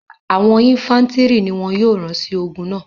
àwọn infàntiri ni wọn yóò ran si ogun náa